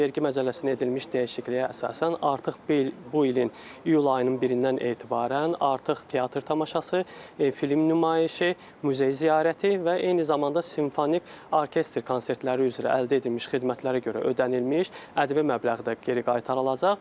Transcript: Vergi məcəlləsinə edilmiş dəyişikliyə əsasən artıq bu ilin iyul ayının birindən etibarən artıq teatr tamaşası, film nümayişi, muzey ziyarəti və eyni zamanda simfoniya, orkestr konsertləri üzrə əldə edilmiş xidmətlərə görə ödənilmiş ədəbi məbləğ də geri qaytarılacaq.